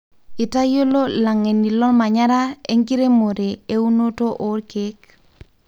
itayiolo ilangeni lomanyara enkiremore ounoto okeek.